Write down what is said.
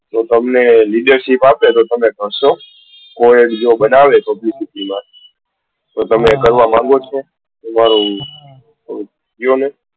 તો તમને ledarship આપે તો તમે કરશો co-head બનાવે publicity નો તો તમે કરશો? તમે કહો ને.